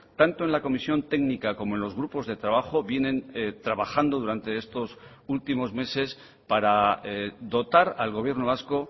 tanto en la comisión técnica como en los grupos de trabajo vienen trabajando durante estos últimos meses para dotar al gobierno vasco